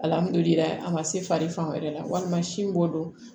Alihamdulilayi a ma se fari fan wɛrɛ la walima sin b'o dɔn